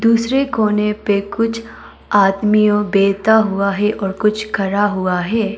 दूसरे कोने पे कुछ आदमीयो बैठा हुआ है और कुछ खड़ा हुआ है।